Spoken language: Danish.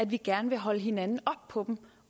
vi gerne vil holde hinanden op på dem